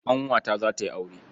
Ƙanwata za ta yi aure.